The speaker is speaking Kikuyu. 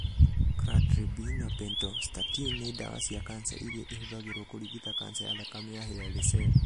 Cladribine na pentostatin nĩ ndawa cia kanca iria ihũthagĩrũo kũrigita kanca ya thakame ya hairy cell.